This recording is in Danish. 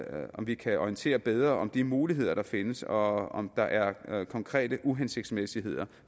om vi kan orientere bedre om de muligheder der findes og om der er konkrete uhensigtsmæssigheder